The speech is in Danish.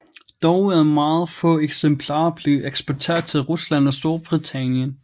Dog er meget få eksemplarer blevet eksporteret til Rusland og Storbritannien